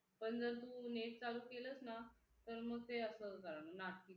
पण तू जर net चालू केलं ना तर मग ते असं नाटकी सुरु करणार